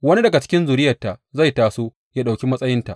Wani daga cikin zuriyarta zai taso yă ɗauki matsayinta.